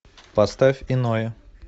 поставь иное